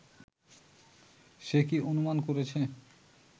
সে কি অনুমান করছে